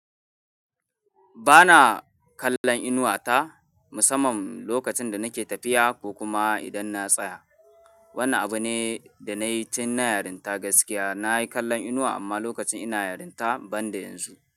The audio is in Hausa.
Ba na kallon inuwa ta musamman lokacin da nake tafiya ko kuma idan na tsaya. Wannan abu ne da na yi tun na yarinta gaskiya. Na yi kallon inuwa amma lokacin ina yarinta banda yanzu.